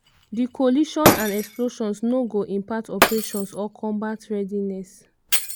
"di collision and explosions no go impact operations or combat readiness.